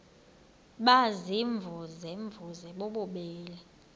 baziimvuze mvuze bububele